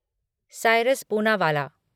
Cyrus Poonawalla